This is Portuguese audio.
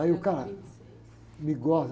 Aí o cara me goza.